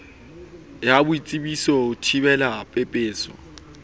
ya boitsebiso ho thibela pepeso